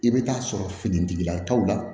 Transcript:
I bɛ taa sɔrɔ finitigilakaw la